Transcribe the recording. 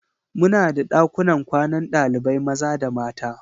Muna da ɗakunan kwanan ɗalibai maza da mata.